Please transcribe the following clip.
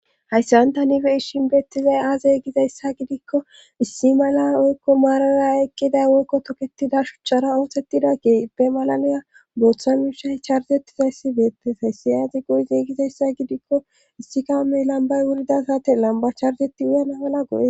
hayssan tani bei'ishinbeettizay aaze gizayssa gidikko issi mala woykko maarara aqqida woykko toketida shuchchara ootettida keippe malanoya bootha mishay charzetizayssi beettes hayssi aazi go7yzeigizayssa gidikko issi kaame lambay wurida sate lamba charzeti uyana mala goes